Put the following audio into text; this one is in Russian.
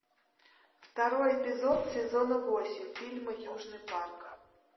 второй эпизод сезона восемь фильма южный парк